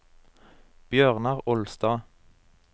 Bjørnar Olstad